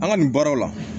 An ka nin baaraw la